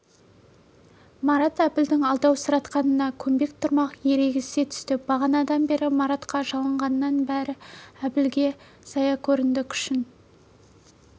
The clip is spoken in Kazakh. марат әбілдің алдаусыратқанына көнбек тұрмақ ерегісе түсті бағанадан бері маратқа жалынғанының бәрі әбілге зая көрінді күшін